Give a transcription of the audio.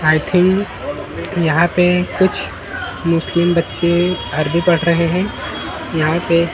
आई think यहाँ पे कुछ मुस्लिम बच्चे अरबी पढ़ रहे है यहाँ पे--